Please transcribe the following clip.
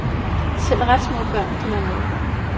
Selv ret små børn kan være med.